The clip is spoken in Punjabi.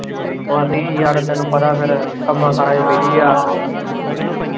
ਉੱਦੀ ਯਾਰ ਤੈਨੂੰ ਪਤਾ ਫੇਰ ਕੰਮਾਕਾਰਾ ਚ busy ਏ।